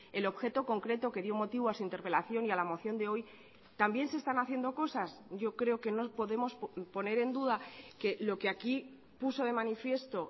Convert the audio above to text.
el objeto concreto que dio motivo a su interpelación y a la moción de hoy también se están haciendo cosas yo creo que no podemos poner en duda que lo que aquí puso de manifiesto